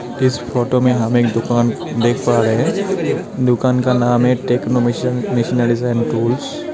इस फोटो में हम एक दुकान देख पा रहे हैं दुकान का नाम है techno mission missionaries and tools.